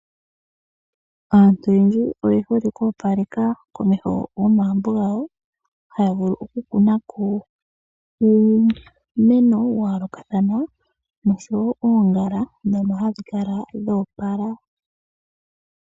Aantu oyendji oye hole oku opaleka komeho go magumbo gawo, haya vulu oku kuna ko uumeno wa yoolokathana nosho wo oongala dhono hadhi kala dha opala.